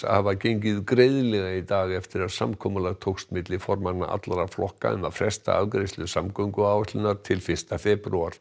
hafa gengið greiðlega í dag eftir að samkomulag tókst milli formanna allra flokka um að fresta afgreiðslu samgönguáætlunar til fyrsta febrúar